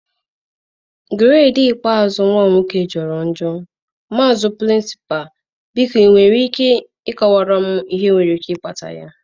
gredii ikpeazụ nwa m nwoke jọrọ njọ, maazi prịnsịpalụ̀ biko ị nwere ike ịkọwara m ihe nwere ike ịkpata ya.